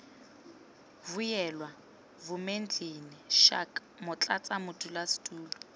vuyelwa vumendlini schalk motlatsa modulasetulo